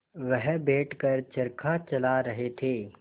वह बैठ कर चरखा चला रहे थे